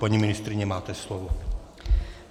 Paní ministryně, máte slovo.